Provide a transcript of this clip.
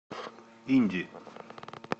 инди